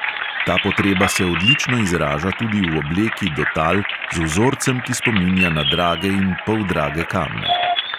Ta potreba se odlično izraža tudi v obleki do tal z vzorcem, ki spominja na drage in poldrage kamne.